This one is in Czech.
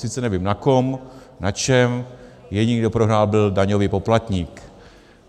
Sice nevím na kom, na čem, jediný, kdo prohrál, byl daňový poplatník.